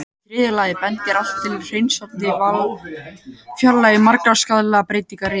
Í þriðja lagi bendir allt til að hreinsandi val fjarlægi margar skaðlegar breytingar í einu.